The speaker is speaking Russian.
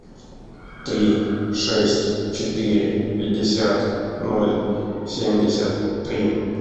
три шесть четыре пятьдесят ноль семьдесят три